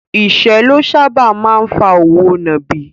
Ìṣẹ́ ló sáábà máa ń fa òwò nàbì.